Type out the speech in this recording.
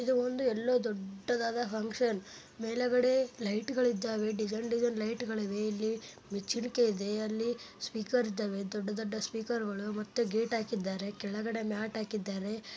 ಇದು ಒಂದು ಎಲ್ಲೋ ದೊಡ್ಡದಾದ ಫಂಕ್ಷನ್ ಮೇಲ್ಗಡೆ ಲೈಟ್ ಗಳಿದ್ದಾವೆ ಡಿಸೈನ್ ಡಿಸೈನ್ ಲೈಟ್ ಗಳಿವೆ ಇಲ್ಲಿ ಮೆಚ್ಚುಗೆ ಇದೆ ಸ್ಪೀಕರ್ ಇದಾವೆ ದೊಡ್ಡ ದೊಡ್ಡ ಸ್ಪೀಕರ್ ಗಳಿದ್ದಾರೆ ಮತ್ತೆ ಗೇಟ್ ಹಾಕಿದ್ದಾರೆ ಕೆಳಗಡೆ ಮ್ಯಾಟ್ ಹಾಕಿದ್ದಾರೆ.